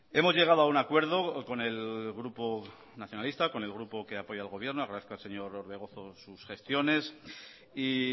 hemos llegado a un acuerdo con el grupo nacionalista con el grupo que apoya el gobierno agradezco al señor orbegozo sus gestiones y